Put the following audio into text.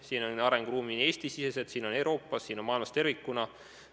Siin on arenguruumi nii Eestis, Euroopas, maailmas tervikuna.